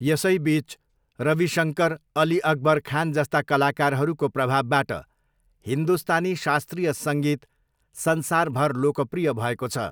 यसैबिच, रविशङ्कर अली अकबर खान जस्ता कलाकारहरूको प्रभावबाट हिन्दुस्तानी शास्त्रीय सङ्गीत संसारभर लोकप्रिय भएको छ।